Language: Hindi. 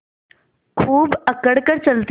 खूब अकड़ कर चलते